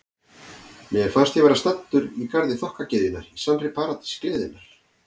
Mér fannst ég vera staddur í garði þokkagyðjanna, í sannri paradís gleðinnar.